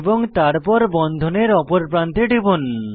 এবং তারপর বন্ধনের অপর প্রান্তে টিপুন